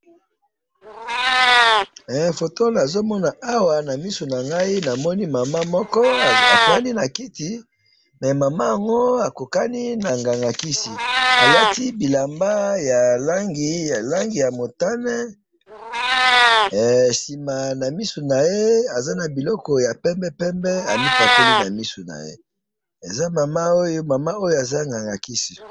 he foto oyo nazo mona awa na misu nangayi namoni mama moko afandi nakiti mais mama oyo akokani na nganga ya kisi alati bilamba ya langi ya mutane hee sima na misu naye aza nabiloko moko amipakoli na misu naye, he eza mama oyoaza nganga ya kisi